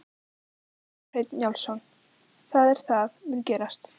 Kjartan Hreinn Njálsson: Það er það mun gerast?